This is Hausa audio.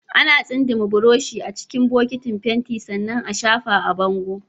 Ana tsindima burushi a cikin bokitin fenti sannan a shafa a bango